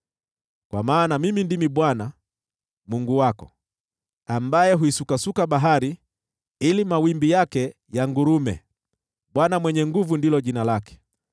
Kwa maana Mimi ndimi Bwana , Mungu wako, ambaye huisukasuka bahari ili mawimbi yake yangurume: Bwana Mwenye Nguvu Zote ndilo jina lake.